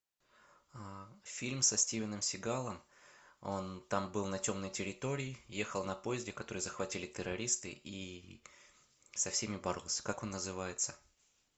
фильм со стивеном сигалом он там был на темной территории ехал на поезде который захватили террористы и со всеми боролся как он называется